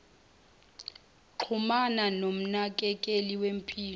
xhumana nomnakekeli wempilo